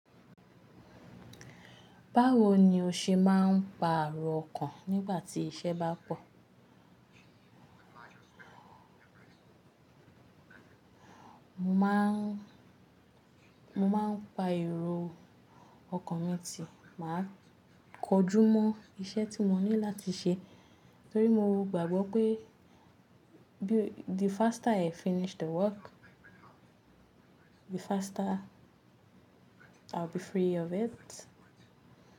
Báwo ni o ṣe máa ń pa èrò ọkàn nígbà tí iṣẹ́ bá pọ̀? Mo má ń, mo máa ń pa èrò ọkàn mi tì, màá kojú mọ́ iṣẹ́ tí mo ní láti ṣe torí mo gbàgbọ́ pé bí the faster I finish the work, the faster I will be free of it.